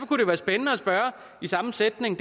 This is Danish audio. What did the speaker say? kunne det være spændende i samme sætning